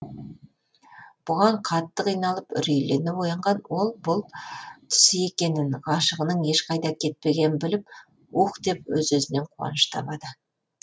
бұған қатты қиналып үрейлене оянған ол бұл түсі екенін ғашығының ешқайда кетпегенін біліп уһ деп өз өзінен қуаныш табады